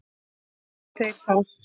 Geti þeir það?